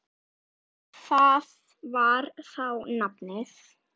Það var þá nafnið.